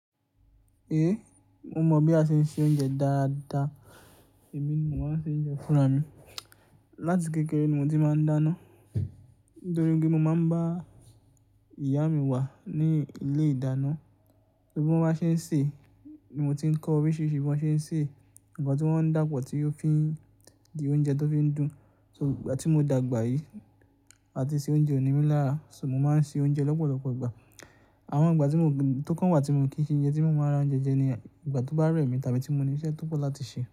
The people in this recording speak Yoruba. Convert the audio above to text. Mo mọ̀ bí a ṣe ń se oúnjẹ dáadáa, èmi ni mó má n ṣe oúnjẹ fúnra mi. Láti kékeré ni mo ti máa ń dáná nítorí pé mo máa ń bá ìyá mi wà ní ilé ìdáná, bí wọ́n bá ṣe ń sè ni mo ti ń kọ oríṣiríṣi bí wọ́n ṣe ń sè, ǹkan tí wọ́n ń dàpọ̀ tí ó fi di oúnjẹ tó fi ń dùn. So, ìgbà tí mo dàgbà yìí, a ti se oúnjẹ òní mí lára, so mo máa ń se oúnjẹ lọ́pọ̀lọpọ̀ ìgbà. Àwọn ìgbà tó kàn wá tí mo kí ń ṣe oúnjẹ tí mo máa ra oúnjẹ jẹ ní ìgbà tó bá rẹ̀ mí tàbí tí mo ní iṣẹ́ tó pọ̀ láti ṣe.